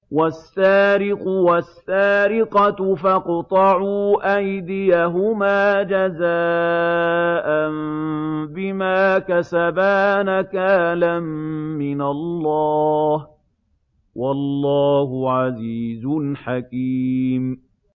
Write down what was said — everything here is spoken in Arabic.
وَالسَّارِقُ وَالسَّارِقَةُ فَاقْطَعُوا أَيْدِيَهُمَا جَزَاءً بِمَا كَسَبَا نَكَالًا مِّنَ اللَّهِ ۗ وَاللَّهُ عَزِيزٌ حَكِيمٌ